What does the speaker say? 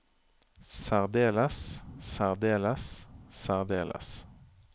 særdeles særdeles særdeles